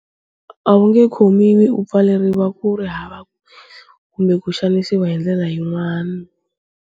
A wu nge khomiwi u pfaleriwa kuri hava kumbe ku xanisiwa hi ndlela yin'wana.